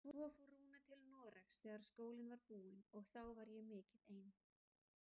Svo fór Rúna til Noregs þegar skólinn var búinn og þá var ég mikið ein.